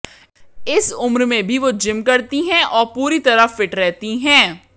इस उम्र में भी वो जिम करती हैं और पूरी तरह फिट रहती हैं